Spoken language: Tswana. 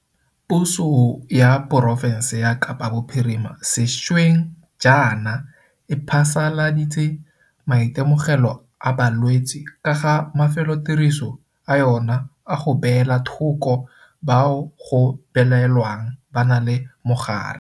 Puso ya porofense ya Kapa Bophirima sešweng jaana e phasaladitse maitemogelo a balwetse ka ga mafelotiriso a yona a go beela thoko bao go belaelwang ba na le mogare.